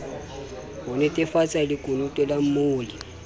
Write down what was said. ho nnetefatsa lekunutu la molli